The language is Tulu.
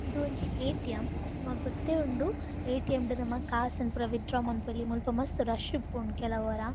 ಇಂದು ಒಂಜಿ ಎ.ಟಿ.ಎಮ್. ನಮಕ್ ಗೊತ್ತೇ ಉಂಡು ಎ.ಟಿ.ಎಮ್. ರ್ದ್ ನಮ ಕಾಸ್ ನ್ ಪುರ ವಿತ್ ಡ್ರಾ ಮನ್ಪೊಲಿ ಮುಲ್ಪ ಮಸ್ತ್ ರಶ್ ಉಪ್ಪುಂಡು ಕೆಲವೊರ.